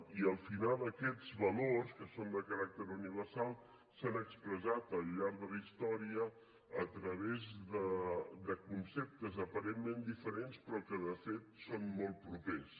i al final aquests valors que són de caràcter universal s’han expressat al llarg de la història a través de conceptes aparentment diferents però que de fet són molt propers